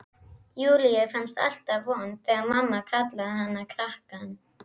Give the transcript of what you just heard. Júlíu fannst alltaf vont þegar mamma kallaði hana krakkann.